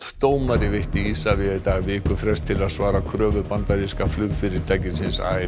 dómari veitti Isavia í dag vikufrest til að svara kröfu bandaríska